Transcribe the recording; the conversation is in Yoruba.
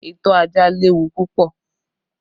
Ìtọ́ ajá léwu púpọ̀